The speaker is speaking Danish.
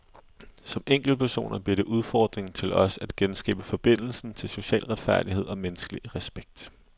Som enkeltpersoner bliver det udfordringen til os at genskabe forbindelsen til social retfærdighed og menneskelig respekt.